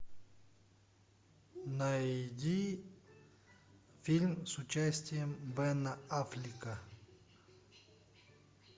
найди фильм с участием бена аффлека